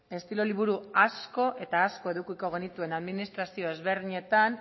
estilo liburu asko eta asko edukiko genituzke administrazio ezberdinetan